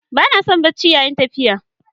Ba na son yin barci yayin tafiya.